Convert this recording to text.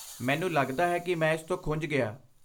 ਮੈਨੂੰ ਲਗਦਾ ਹੈ ਕਿ ਮੈਂ ਇਸ ਤੋਂ ਖੁੰਝ ਗਿਆ।